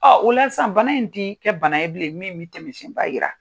Ɔ o la sisan bana in tɛ kɛ bana ye bilen min bɛ tɛmɛsiɛnba jira.